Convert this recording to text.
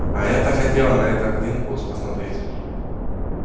а я так хотела на этот линкус посмотреть